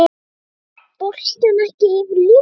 Fór boltinn ekki yfir línuna?